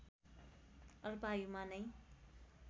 अल्पायुमा नै